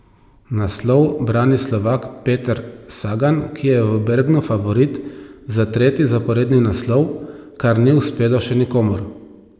Naslov brani Slovak Peter Sagan, ki je v Bergnu favorit za tretji zaporedni naslov, kar ni uspelo še nikomur.